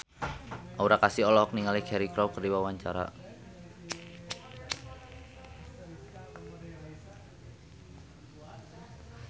Aura Kasih olohok ningali Cheryl Crow keur diwawancara